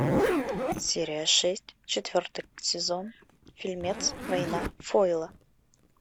серия шесть четвертый сезон фильмец война фойла